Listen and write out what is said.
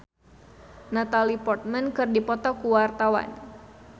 Reysa Chandragitta jeung Natalie Portman keur dipoto ku wartawan